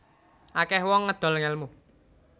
Akeh wong ngedol ngelmu